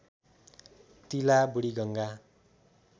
तिला बुढीगङ्गा